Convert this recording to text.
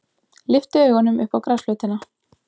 Lyfti augunum upp á grasflötina.